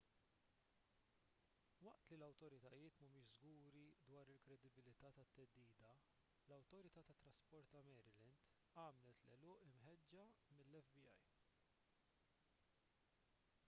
waqt li l-awtoritajiet m'humiex żguri dwar il-kredibilità tat-theddida l-awtorità tat-trasport ta' maryland għamlet l-għeluq imħeġġa mill-fbi